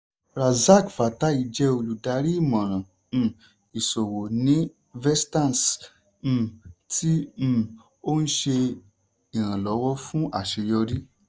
razaq fatai jẹ́ olùdarí ìmọ̀ràn um ìṣòwò ní vestance um tí um ó ń ṣe ìrànlọ́wọ́ fún àṣeyọrí.